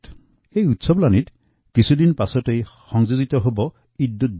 উৎসৱৰ এই আনন্দৰ মাৰ নাযাওতেই কিছুদিন পাছতে ঈদউলজুহা পালন কৰা হব